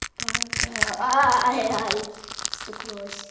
пока ай-яй стукнулась